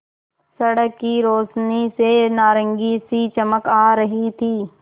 सड़क की रोशनी से नारंगी सी चमक आ रही थी